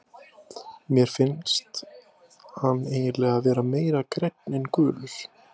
Mér finnst hann eiginlega vera meira grænn en gulur.